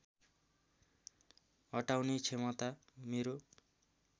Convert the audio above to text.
अटाउने क्षमता मेरो